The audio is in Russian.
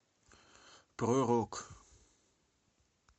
про рок